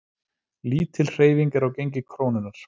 Lítil hreyfing er á gengi krónunnar